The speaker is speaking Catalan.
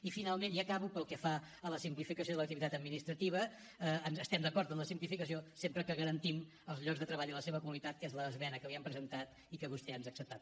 i finalment i acabo pel que fa a la simplificació de l’activitat administrativa estem d’acord amb la simplificació sempre que garantim els llocs de treball i la seva qualitat que és l’esmena que li hem presentat i que vostè ens ha acceptat